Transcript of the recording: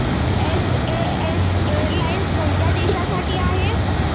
SAS airlines कोणत्या देशांसाठी आहे